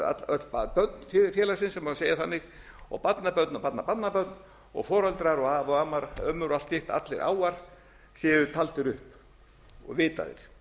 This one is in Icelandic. öll börn félagsins sem má segja þannig og barnabörn og barnabarnabörn og foreldrar og afar og ömmur og allt hitt allir áar séu taldir upp og vitað